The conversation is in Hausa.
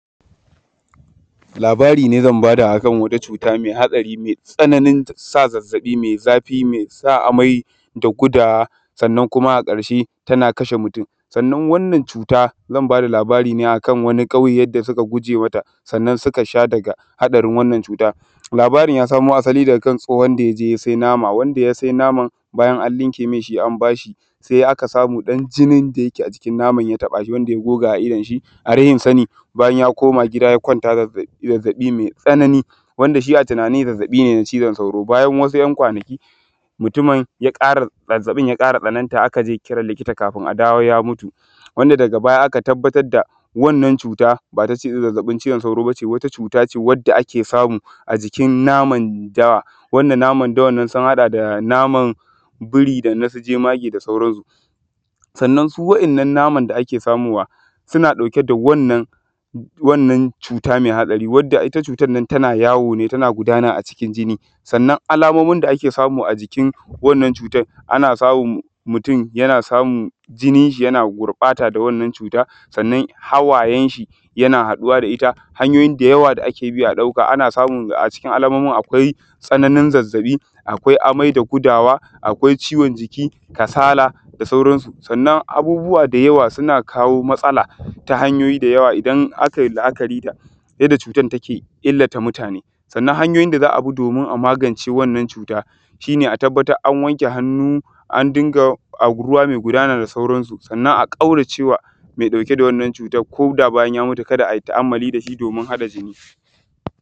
Labara ne zan bada akan wani cuta me haɗarai me tsananin sa zazzabi me zafi me sa amai da gudawa sannan kuma a ƙarshe tana kashe mutum sannan wannan cuta zan bada labara ne akan wani ƙauye yadda suka guje mata, sannan suka sha daga haɗarin wannan cuta. Labarin ya samo asali daga tsohon da ya je ya sai nama, ya sai naman bayan an ɗinke ma shi, an bashi se aka samu ɗan jinin da ake a jikin ya taba shi, wanda ya goga a idon shi. A rashin sani bayan ya koma gida ya kwanta zazzaɓi mai tsanani wanda shi a tunani zazzabi ne na cizon sauro, bayan wasu ɗan kwanaki mutumin yana zazzabin ya ƙara tsananta aka je kiran likita kafun a dawo ya mutu, wanda daga baya aka tabbatar wannan cuta ba zazzabin cizon sauro ba ne. Wata cuta ce da ake samu a jikin naman dawa wanda naman da wannan sun haɗa da naman biri da na jemage da sauraunsu sannan su waɗannan naman da ake samowa, yana ɗauke da wannan cuta me hatsari wadda ita cutan nan, tana yawo ne tana gudana a cikin jinni, sannan alamomin da ake samu a jikin wannan cutan ana samun mutum yana samun jinin shi yana gurɓata da wannan cuta sannan hawayen shi yana haɗuwa da shi. Akwaai hanyoyi da yawa da ake bi a ɗauka, ana samu a cikin alamomin, akwai zazzabi, akwai amai da gudawa, akwai ciwon jiki, kasala da sauransu. Sannan abubuwa da yawa suna kawo matsala ta hanyoyi da yawa idan akai la’akari da yadda cutan ta illata mutane, sannan hanyoyin da za a bi domin a magance wannan cuta shi ne a atabbatar an wanke hannu an dinga ruwa me gudana da sauransu. Sannan a ƙauracewa me ɗauke da wannan cutan koda bayan ya mutu ka da a yi ta’amalli da shi domin haɗa jinni.